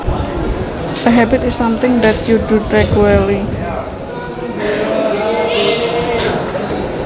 A habit is something that you do regularly